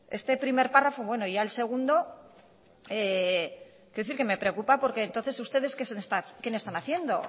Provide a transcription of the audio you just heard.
este primer párrafo bueno y ya el segundo quiero decir que me preocupa porque entonces ustedes qué le están haciendo